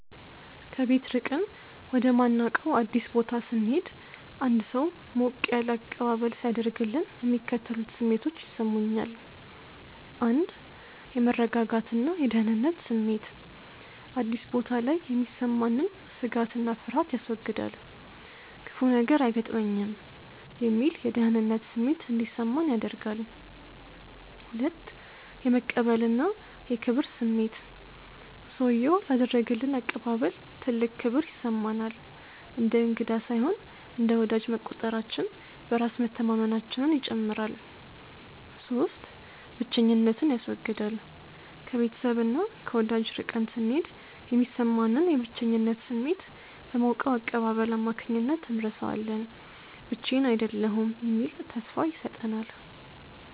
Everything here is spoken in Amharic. ከቤት ርቀን ወደማናውቀው አዲስ ቦታ ስንሄድ አንድ ሰው ሞቅ ያለ አቀባበል ሲያደርግልን የሚከተሉት ስሜቶች ይሰሙኛል፦ 1. የመረጋጋትና የደህንነት ስሜት፦ አዲስ ቦታ ላይ የሚሰማንን ስጋትና ፍርሃት ያስወግዳል። "ክፉ ነገር አይገጥመኝም" የሚል የደህንነት ስሜት እንዲሰማን ያደርጋል። 2. የመቀበልና የክብር ስሜት፦ ሰውዬው ላደረገልን አቀባበል ትልቅ ክብር ይሰማናል። እንደ እንግዳ ሳይሆን እንደ ወዳጅ መቆጠራችን በራስ መተማመናችንን ይጨምራል። 3. ብቸኝነትን ያስወግዳል፦ ከቤተሰብና ከወዳጅ ርቀን ስንሄድ የሚሰማንን የብቸኝነት ስሜት በሞቀው አቀባበል አማካኝነት እንረሳዋለን። ብቻዬን አይደለሁም የሚል ተስፋ ይሰጠናል።